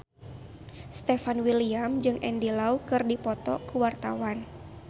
Stefan William jeung Andy Lau keur dipoto ku wartawan